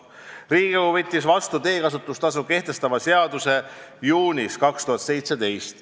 " Riigikogu võttis teekasutustasu kehtestava seaduse vastu juunis 2017.